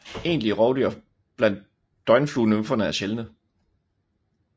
Egentlige rovdyr blandt døgnfluenymferne er sjældne